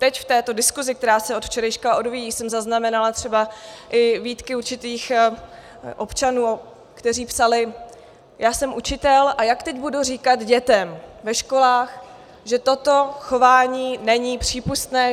Teď v této diskuzi, která se od včerejška odvíjí, jsem zaznamenala třeba i výtky určitých občanů, kteří psali: Já jsem učitel, a jak teď budu říkat dětem ve školách, že toto chování není přípustné?